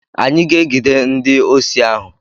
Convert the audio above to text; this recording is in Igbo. Anyị ga-egide ndi osi ahụ.